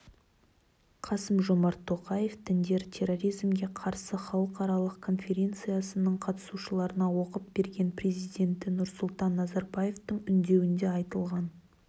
қасым-жомарт тоқаев діндер терроризмге қарсы халықаралық конференциясының қатысушыларына оқып берген президенті нұрсұлтан назарбаевтың үндеуінде айтылған